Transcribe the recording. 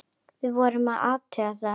Við vorum að athuga það.